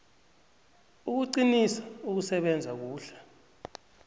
ukuqinisa ukusebenza kuhle